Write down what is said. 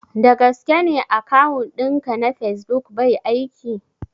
Da gaske ne akawun ɗin ka na facebook bai aiki?